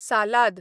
सालाद